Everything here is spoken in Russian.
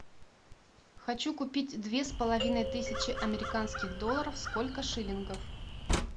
хочу купить две с половиной тысячи американских долларов сколько шиллингов